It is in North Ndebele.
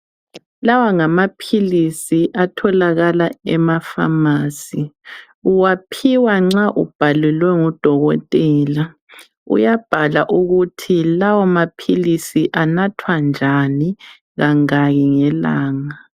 Lawa ngamaphilisi atholakala ema pharmacy, uwaphiwa nxa ubhalelwe ngudokotela. Uyabhala ukuthi lawa maphilisi anathwa njani, kangaki ngelanga